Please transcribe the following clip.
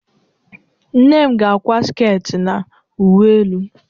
Nne m ga-akwa sket na uwe elu.